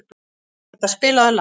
Agata, spilaðu lag.